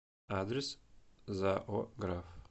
адрес зао граф